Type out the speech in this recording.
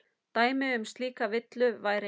Dæmi um slíka villu væri